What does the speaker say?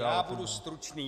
Já budu stručný.